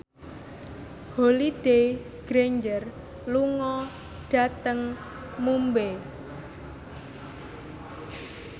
Holliday Grainger lunga dhateng Mumbai